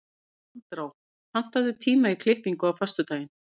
Andrá, pantaðu tíma í klippingu á föstudaginn.